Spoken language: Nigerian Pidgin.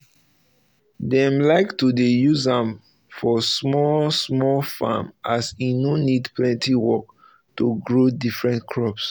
dem like to dey use am for small-small farms as e no need plenty work to grow different crops.